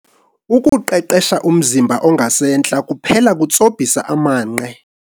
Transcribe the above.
Ukuqeqesha umzimba ongasentla kuphela kutsobhisa amanqe.